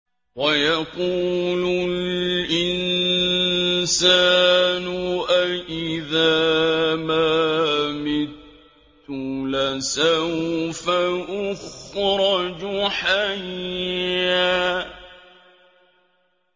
وَيَقُولُ الْإِنسَانُ أَإِذَا مَا مِتُّ لَسَوْفَ أُخْرَجُ حَيًّا